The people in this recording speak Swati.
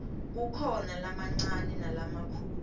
kukhona lamancane nalamikhulu